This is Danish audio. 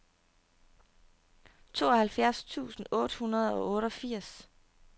tooghalvfjerds tusind otte hundrede og otteogfirs